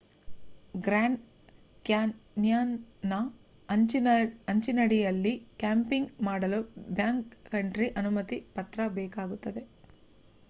grand ಕ್ಯಾನ್ಯಾನ್ನ ಅಂಚಿನಡಿಯಲ್ಲಿ camping ಮಾಡಲು ಬ್ಯಾಕ್ ಕಂಟ್ರಿ ಅನುಮತಿ ಪತ್ರ ಬೇಕಾಗುತ್ತದೆ